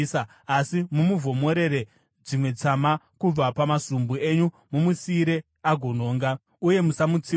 Asi, mumuvhomorere dzimwe tsama, kubva pamasumbu enyu mumusiyire agononga, uye musamutsiura.”